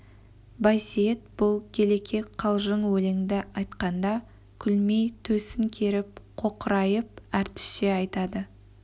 байсейіт бұл келеке қалжың өлеңді айтқанда күлмей төсін керіп қоқырайып әртісше айтады